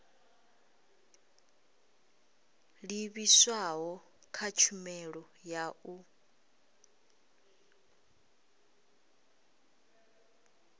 livhiswaho kha tshumelo ya u